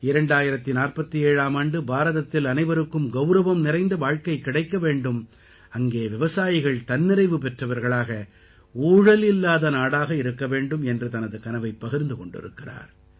2047ஆம் ஆண்டு பாரதத்தில் அனைவருக்கும் கௌரவம் நிறைந்த வாழ்க்கை கிடைக்க வேண்டும் அங்கே விவசாயிகள் தன்னிறைவு பெற்றவர்களாக ஊழல் இல்லாத நாடாக இருக்க வேண்டும் என்று தனது கனவைப் பகிர்ந்து கொண்டிருக்கிறார்